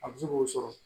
A bɛ se k'o sɔrɔ